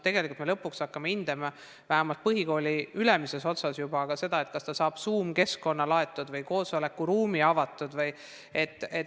Tegelikult me hakkame, vähemalt põhikooli ülemises otsas, juba hindama ka seda, et kas ta saab Zoom-keskkonna laaditud või koosolekuruumi avatud.